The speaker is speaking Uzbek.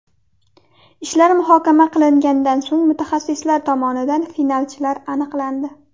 Ishlar muhokama qilingandan so‘ng mutaxassislar tomonidan finalchilar aniqlandi.